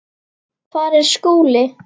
Hvar er Skúli?